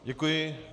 Děkuji.